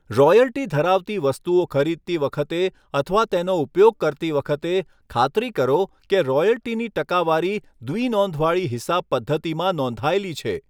Royalty ધરાવતી વસ્તુઓ ખરીદતી વખતે અથવા તેનો ઉપયોગ કરતી વખતે, ખાતરી કરો કે રોયલ્ટીની ટકાવારી દ્વિનોંધવાળી હિસાબ પદ્ધતિમાં નોંધાયેલી છે.